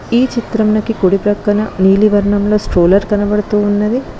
ఈ చిత్రంలోకి కుడి ప్రక్కన నీలి వర్ణంలో స్ట్రోలర్ కనబడుతూ ఉన్నది.